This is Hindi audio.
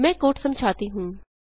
मैं कोड समझाती हूँ